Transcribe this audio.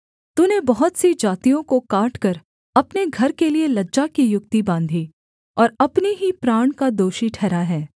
तूने बहुत सी जातियों को काटकर अपने घर के लिये लज्जा की युक्ति बाँधी और अपने ही प्राण का दोषी ठहरा है